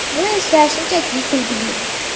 Bu esa shunchaki kulgili.